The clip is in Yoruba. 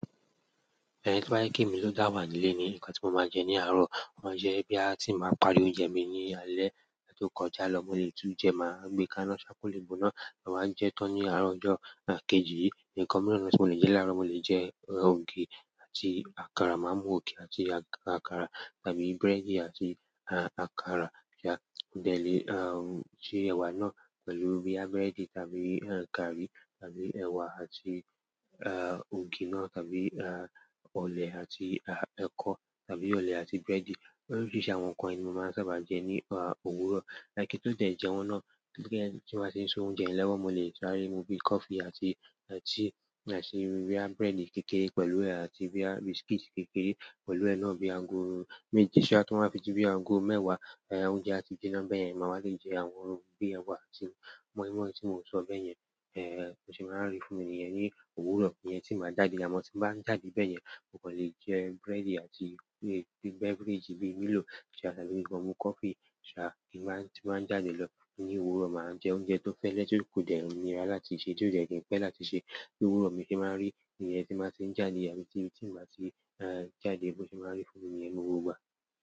To ba je pe emi lo da wa nile ni, nkan ti mo maa je ni aro. Mo ma jẹ boya ti n báa parí oúnjẹ mi ní alé tó kọjá lọ, mo lè tún jẹ, màá gbé ká iná ṣá kó lé gboná, màá wa jẹ tán ní àárọ̀ ọjọ́ kejì. Ǹkan míràn tí mo lè jẹ láàárọ̀, mo lè jẹ ògì àti àkàrà. Màá mú ògì àti àkàrà tàbí búrẹ́dì àti àkàrà ṣá, bẹ̀ni, se ẹ̀wà náà pẹ̀lú boyà búrẹ́dì tàbí gààrí tàbí ẹ̀wà àti, ògì náà tàbí, ọ̀lẹ̀ àti ẹkọ tàbí ọ̀lẹ̀ àti búrẹ́dì. Oríṣiríṣi àwọn nkan yìí ni mo maa sábà je ni òwúrọ̀ kí n tó tiẹ̀ jẹun náà, tí n bàá ti n se oúnjẹ lowo mo lè sáré mú bí coffee àti tíì àti boyà búrẹ́dì kékeré pẹ̀lú rẹ̀ àti boyà biscuit kékeré pẹ̀lú rẹ̀ náà bíi ago. Méje sá toba fi dí bí ago mẹ́wàá oúnjẹ àti jíná bẹ́ẹ̀ yẹn, màá wà le jẹ àwọn ohun bíi ẹ̀wà àti mọ́ímọ́í tí mo sọ bẹ́ẹ̀ yẹn, bo se máa rí fúnmi niyẹn ní òwúrọ̀. Iyẹn tí n bàá jáde, àmọ́ tí n bàá ń jáde bẹ́ẹ̀ yẹn, mo kàn lè jẹ búrẹ́dì àti beverage bíi Milo ṣá tàbí ki kan mú coffee ṣá tí n bàá, tí bàá ń jáde lọ ní òwúrọ̀, màá jẹ oúnjẹ tó fẹ́lè tí kò dẹ̀ nírà láti sè, tí ó dẹ́ kin pẹ́ láti sè. Ní òwúrọ̀ mi tì n báa rí iyen tí n bàá ti ń jáde àbí tí mì, tí màá ṣe jáde, bo se máa n rí fúnmi niyen ní gbogbo ìgbà.